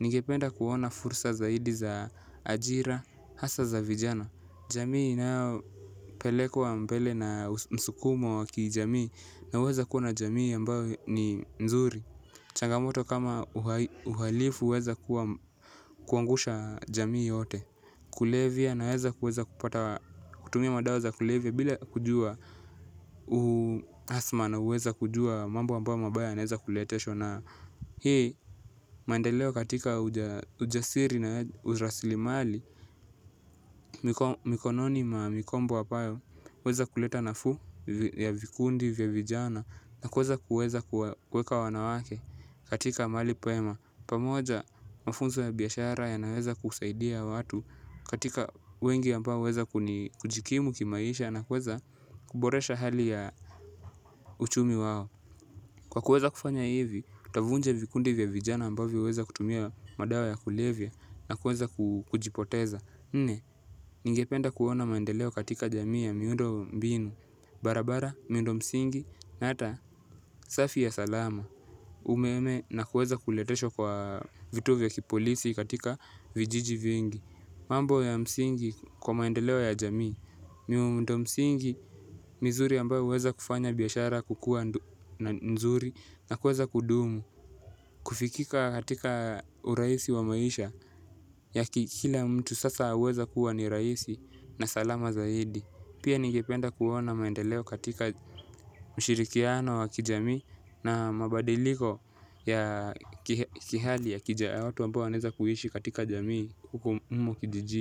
Ningependa kuona fursa zaidi za ajira. Hasa za vijana jamii na pelekwa mbele na msukumo waki jamii. Na weza kuwa na jamii ambao ni nzuri. Changamoto kama uhalifu uweza kuangusha jamii yote. Kulevya na weza kutumia madao za kulevya. Bila kujua uhasma na uweza kujua mambo ambayo mabaya naweza kuleteshwa na hii maendeleo katika ujasiri na urasili mali. Mikononi ma mikombo ambayo uweza kuleta nafuu ya vikundi vya vijana na kweza kuweza kuweka wanawake katika mali pema. Pamoja mafunzo ya biyashara ya naweza kusaidia watu katika wengi ambao weza kuni kujikimu kimaisha na kuweza kuboresha hali ya uchumi wao. Kwa kuweza kufanya hivi utavunja vikundi vya vijana ambao huweza kutumia madawa ya kulevya nakuweza kujipoteza nne, ningependa kuona maendeleo katika jamii ya miundo mbinu barabara, miundo msingi, na ata safi ya salama umeme na kuweza kuleteshwa kwa vituo vya kipolisi katika vijiji vingi. Mambo ya msingi kwa maendeleo ya jamii. Miundo msingi, mizuri ambayo uweza kufanya biyashara kukua nzuri na kuweza kudumu, kufikika katika uraisi wa maisha ya kikila mtu sasa huweza kuwa ni raisi na salama zaidi. Pia ningependa kuona maendeleo katika mshirikiano wa kijami na mabadiliko ya kihali ya kija watu aammao waneza kuhishi katika jamii humo kijijini.